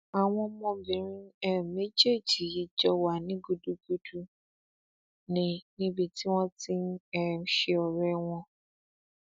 àwọn ọmọbìnrin um méjèèjì yìí jọ wà ní gúdúgbù ní níbi tí wọn ti ń um ṣe ọrẹ wọn